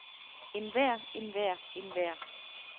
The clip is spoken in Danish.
enhver enhver enhver